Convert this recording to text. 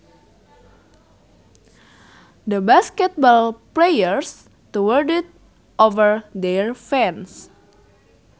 The basketball players towered over their fans